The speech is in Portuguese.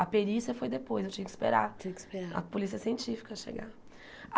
A perícia foi depois, eu tinha que esperar Tiinha que esperar A polícia científica chegar.